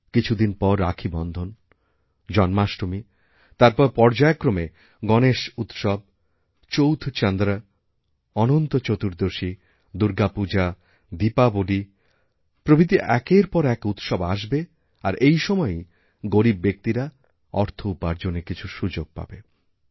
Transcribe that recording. কিছুদিন পর রাখী বন্ধন জন্মাষ্টমী তারপর পর্যায়ক্রমেগণেশ উৎসব চৌথ চন্দ্র অনন্ত চতুর্দশী দুর্গা পূজা দীপাবলী প্রভৃতি একের পর একউৎসব আসবে আর এই সময়েই গরীব ব্যক্তিরা অর্থ উপার্জনের কিছু সুযোগ পাবে